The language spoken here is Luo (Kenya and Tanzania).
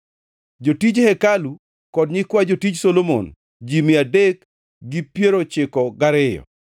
Jotij hekalu kod nyikwa jotij Solomon, ji mia adek gi piero ochiko gariyo (392).